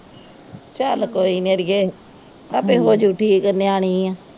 ਚਲ ਕੋਈ ਨਹੀਂ ਅੜੀਏ ਆਪੇ ਹੋਜੂ ਠੀਕ ਨਿਆਣੀ ਆ।